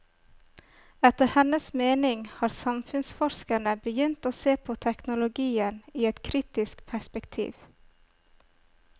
Etter hennes mening har samfunnsforskerne begynt å se på teknologien i et kritisk perspektiv.